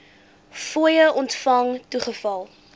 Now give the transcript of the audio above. fooie ontvang toegeval